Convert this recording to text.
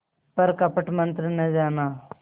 पर कपट मन्त्र न जाना